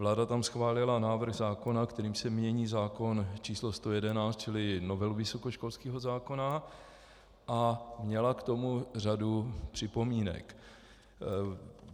Vláda tam schválila návrh zákona, kterým se mění zákon č. 111, čili novelu vysokoškolského zákona, a měla k tomu řadu připomínek.